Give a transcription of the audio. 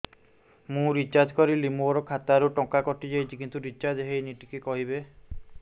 ମୁ ରିଚାର୍ଜ କରିଲି ମୋର ଖାତା ରୁ ଟଙ୍କା କଟି ଯାଇଛି କିନ୍ତୁ ରିଚାର୍ଜ ହେଇନି ଟିକେ କହିବେ